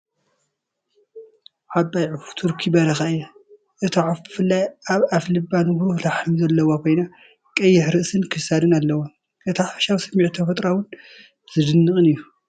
ዓባይ ዑፍ ቱርኪ በረኻ እያ። እታ ዑፍ ብፍላይ ኣብ ኣፍልባ ንብሩህ ላሕሚ ዘለዋ ኮይና፡ ቀይሕ ርእስን ክሳዳን ኣለዋ። እቲ ሓፈሻዊ ስምዒት ተፈጥሮኣውን ዝድነቕን እዩ።